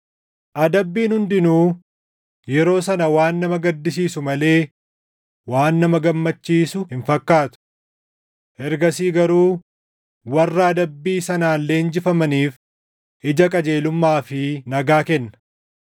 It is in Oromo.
Adabbiin hundinuu yeroo sana waan nama gaddisiisu malee waan nama gammachiisu hin fakkaatu. Ergasii garuu warra adabbii sanaan leenjifamaniif ija qajeelummaa fi nagaa kenna.